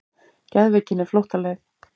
Geðveikin er flóttaleið.